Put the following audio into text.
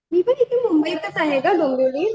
मी पण इथे मुंबईतच आहे गं डोंबिवलीत